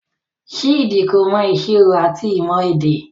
Chidi ko mọ ìṣirò ati ìmọ èdè.